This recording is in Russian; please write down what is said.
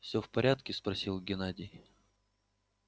всё в порядке спросил геннадий